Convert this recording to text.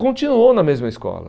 continuou na mesma escola.